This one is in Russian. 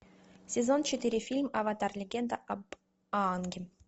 сезон четыре фильм аватар легенда об аанге